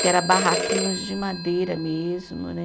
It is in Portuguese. Que era barraquinhos de madeira mesmo, né?